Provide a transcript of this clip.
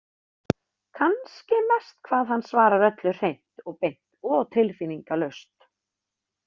Kannski mest hvað hann svarar öllu hreint og beint og tilfinningalaust.